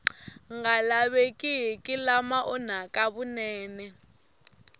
nga lavekeki lama onhaka vunene